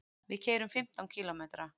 Við keyrum fimmtán kílómetra.